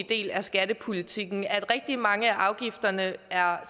del af skattepolitikken rigtig mange af afgifterne er